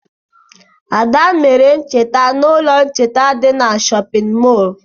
Ada mere ntecha n'ụlọ ntecha dị n'shóppin mol.